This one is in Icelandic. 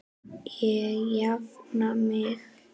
Ég jafna mig.